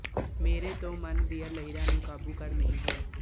ਮੇਰੇ ਤੋਂ ਮਨ ਦੀਆਂ ਲਹਿਰਾਂ ਨੂੰ ਕਾਬੂ ਕਰ ਨਹੀਂ ਹੋਇਆ